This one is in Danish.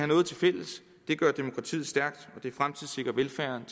noget tilfælles det gør demokratiet stærkt og det fremtidssikrer velfærden